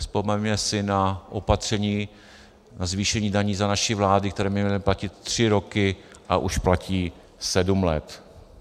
Vzpomeňme si na opatření na zvýšení daní za naší vlády, které mělo platit tři roky, a už platí sedm let.